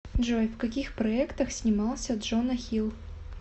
джой в каких проектах снимался джона хилл